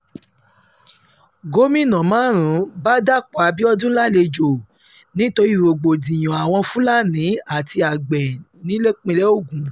gómìnà márùn-ún bá dapò abiodun lálejò nítorí rògbòdìyàn nítorí rògbòdìyàn àwọn fúlàní àti àgbẹ̀ nípínlẹ̀ ogun